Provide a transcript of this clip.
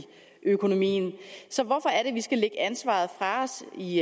økonomien så hvorfor er det vi skal lægge ansvaret fra os i